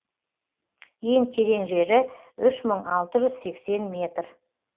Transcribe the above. ең терең жері үш мың алты жүз сексен метр